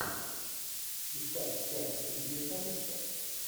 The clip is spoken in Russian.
искать часть три менталиста